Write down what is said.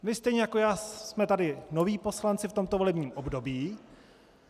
Vy stejně jako já jsme tady noví poslanci v tomto volebním období.